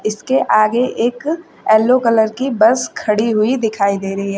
इसके आगे एक येल्लो कलर की बस खड़ी हुई दिखाई दे रही है।